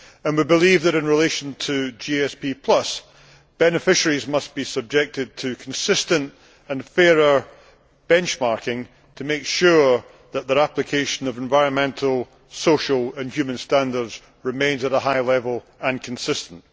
We believe that in relation to GSP, beneficiaries must be subjected to consistent and fairer benchmarking to make sure that their application of environmental, social and human standards remains at a high level and consistent.